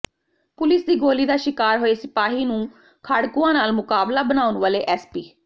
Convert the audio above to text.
police ਦੀ ਗੋਲ਼ੀ ਦਾ ਸ਼ਿਕਾਰ ਹੋਏ ਸਿਪਾਹੀ ਨੂੰ ਖਾੜਕੂਆਂ ਨਾਲ ਮੁਕਾਬਲਾ ਬਣਾਉਣ ਵਾਲੇ ਐਸਪੀ